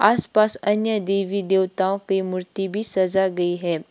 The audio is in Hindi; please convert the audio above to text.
आस पास अन्य देवी देवताओं की मूर्ति भी सज़ा गई है।